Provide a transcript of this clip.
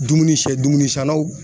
Dumuni sɛdumuni sannaw